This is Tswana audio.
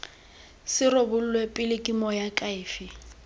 se rebolwe pele ke moakhaefe